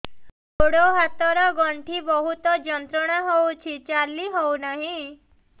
ଗୋଡ଼ ହାତ ର ଗଣ୍ଠି ବହୁତ ଯନ୍ତ୍ରଣା ହଉଛି ଚାଲି ହଉନାହିଁ